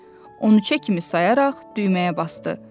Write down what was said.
Onu çiçək kimi sayaraq düyməyə basdı.